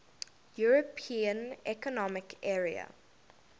european economic area